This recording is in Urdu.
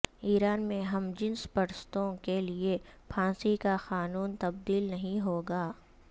ایران میں ہم جنس پرستوں کے لیے پھانسی کا قانون تبدیل نہیں ہو گا